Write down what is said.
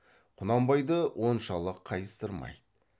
құнанбайды оншалық қайыстырмайды